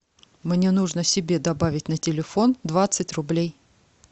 мне нужно себе добавить на телефон двадцать рублей